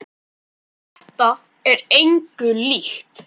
Þetta er engu líkt.